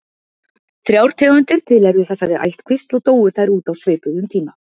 Þrjár tegundir tilheyrðu þessari ættkvísl og dóu þær út á svipuðum tíma.